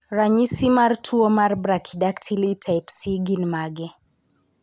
Ranyisi mag tuwo mar Brachydactyly type C gin mage?